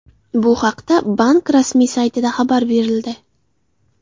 Bu haqda bank rasmiy saytida xabar berildi .